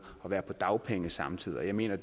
og være på dagpenge samtidig jeg mener